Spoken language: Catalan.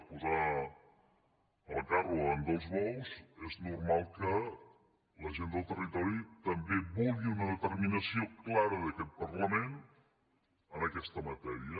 és posar el carro davant dels bous és normal que la gent del territori també vulgui una determinació clara d’aquest parlament en aquesta matèria